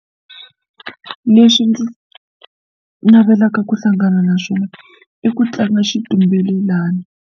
Leswi ndzi navelaka ku hlangana na swona i ku tlanga xitumbelelani.